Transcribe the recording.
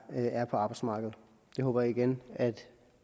er på arbejdsmarkedet det håber jeg igen at